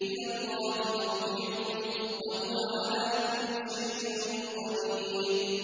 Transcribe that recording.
إِلَى اللَّهِ مَرْجِعُكُمْ ۖ وَهُوَ عَلَىٰ كُلِّ شَيْءٍ قَدِيرٌ